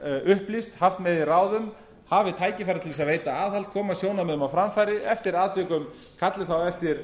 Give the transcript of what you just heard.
upplýst haft með í ráðum hafi tækifæri til að veita aðhald koma sjónarmiðum á framfæri eftir atvikum kalli þá eftir